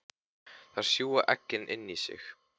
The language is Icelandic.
Þær sjúga eggin inn í sig.